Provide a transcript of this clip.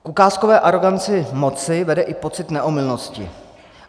K ukázkové aroganci moci vede i pocit neomylnosti.